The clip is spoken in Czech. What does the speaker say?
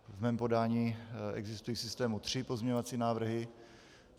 V mém podání existují v systému tři pozměňovací návrhy.